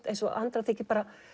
eins og Andra þyki